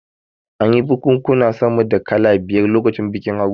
An yi bikunkuna sama da kala biyar lokacin bikin Haruna